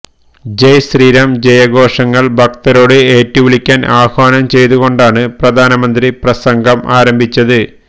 ജയ് ശ്രീരാം ജയഘോഷങ്ങൾ ഭക്തരോട് ഏറ്റുവിളിക്കാൻ ആഹ്വാനം ചെയ്തുകൊണ്ടാണ് പ്രധാനമന്ത്രി പ്രസംഗം ആരംഭിച്ചത്